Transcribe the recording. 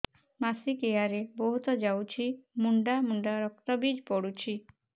ମାସିକିଆ ରେ ବହୁତ ଯାଉଛି ମୁଣ୍ଡା ମୁଣ୍ଡା ରକ୍ତ ବି ପଡୁଛି